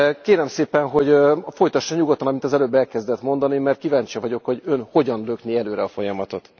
Kérem szépen, hogy folytassa nyugodtan, amit az előbb elkezdett mondani, mert kíváncsi vagyok, hogy Ön hogyan lökné előre a folyamatot.